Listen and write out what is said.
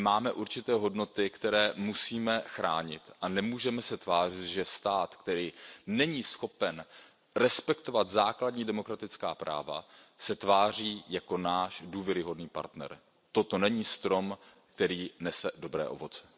My máme určité hodnoty, které musíme chránit, a nemůžeme se tvářit, že stát, který není schopen respektovat základní demokratická práva, se tváří jako náš důvěryhodný partner. Toto není strom, který nese dobré ovoce.